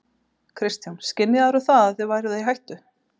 Kristján: Skynjaðirðu það að þið væruð í hættu?